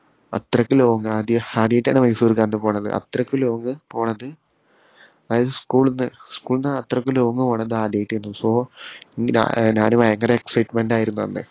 അത്രയ്ക്ക് long ആദി ആദ്യായിട്ടാണ് മൈസൂർക്കാണ്ട് പോന്നത് അത്രയ്ക്ക് long പോണത് അതായത് school ന്ന് school ന്ന് അത്രയ്ക്ക് long പോണത് ആദ്യായിട്ടാരുന്നു so ഞാ ഏർ ഞാന് ഭയങ്കര excitement ആയിരുന്നു അന്ന്